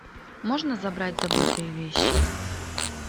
можно забрать забытые вещи